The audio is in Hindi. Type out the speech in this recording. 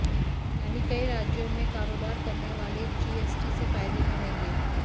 यानी कई राज्यों में कारोबार करने वाले जीएसटी से फायदे में रहेंगे